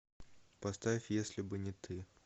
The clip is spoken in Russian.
поставь если бы не ты